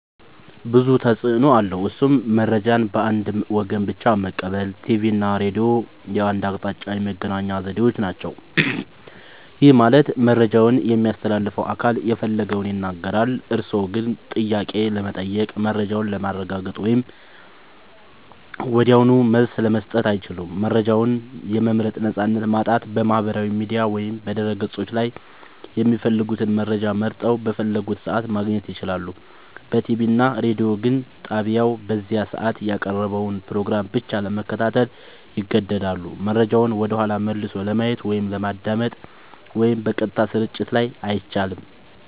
ብዙ ተፅኖ አለዉ እሱም :-መረጃን በአንድ ወገን ብቻ መቀበል ቲቪ እና ሬዲዮ የአንድ አቅጣጫ የመገናኛ ዘዴዎች ናቸው። ይህ ማለት መረጃውን የሚያስተላልፈው አካል የፈለገውን ይናገራል፤ እርስዎ ግን ጥያቄ ለመጠየቅ፣ መረጃውን ለማረጋገጥ ወይም ወዲያውኑ መልስ ለመስጠት አይችሉም። መረጃን የመምረጥ ነፃነት ማጣት በማህበራዊ ሚዲያ ወይም በድረ-ገጾች ላይ የሚፈልጉትን መረጃ መርጠው፣ በፈለጉት ሰዓት ማግኘት ይችላሉ። በቲቪ እና ሬዲዮ ግን ጣቢያው በዚያ ሰዓት ያቀረበውን ፕሮግራም ብቻ ለመከታተል ይገደዳሉ። መረጃውን ወደኋላ መልሶ ለማየት ወይም ለማዳመጥ (በቀጥታ ስርጭት ላይ) አይቻልም።